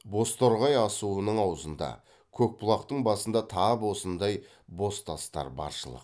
бозторғай асуының аузында көкбұлақтың басында тап осындай бозтастар баршылық